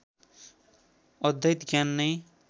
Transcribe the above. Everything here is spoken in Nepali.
अद्वैत ज्ञान नै